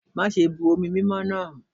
Mase bu omi mimo na!